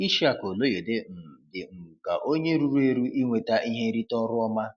Ishaq Oloyede um dị um ka onye ruru eru inweta ihe nrite ọrụ ọma.